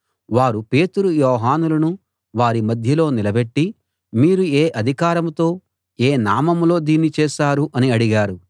వారు పేతురు యోహానులను వారి మధ్యలో నిలబెట్టి మీరు ఏ అధికారంతో ఏ నామంలో దీన్ని చేశారు అని అడిగారు